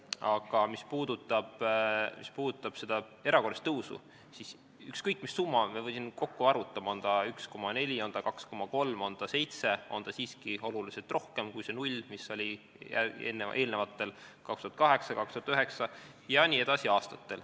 Aga mis puudutab seda erakorralist tõusu, siis ükskõik mis summa me siin kokku arvutame, on see 1, või on see 2,3 või on see 7, see on siiski oluliselt rohkem kui 0, mis oli 2008., 2009. aastal jne.